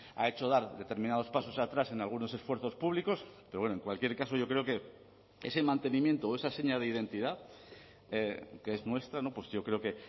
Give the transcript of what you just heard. ha hecho dar determinados pasos atrás en algunos esfuerzos públicos pero bueno en cualquier caso yo creo que ese mantenimiento o esa seña de identidad que es nuestra pues yo creo que